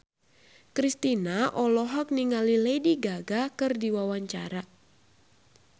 Kristina olohok ningali Lady Gaga keur diwawancara